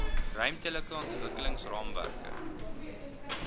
ruimtelike ontwikkelings raamwerke